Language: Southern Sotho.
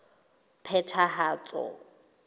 phethahatso